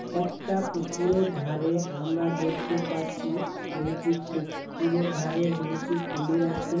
একটা পুকুরের ধারে আমরা দেখতে পাচ্ছি দুইটি পু-পুকুরের ধারে দুইটি কুমির আছে ।